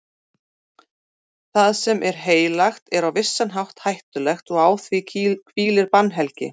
Það sem er heilagt er á vissan hátt hættulegt og á því hvílir bannhelgi.